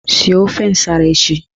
Sie ofe nsara echi!